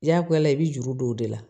Jagoyala i bɛ juru don o de la